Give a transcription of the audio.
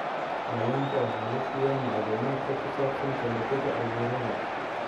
Dhallaanka waxaa la siiyaa macluumaadka ku saabsan ka hortagga cudurrada.